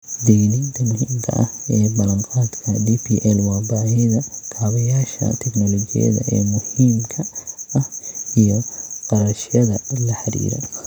Digniinta muhiimka ah ee ballan-qaadka DPL waa baahida kaabayaasha teknoolojiyadda ee muhiimka ah iyo kharashyada la xiriira.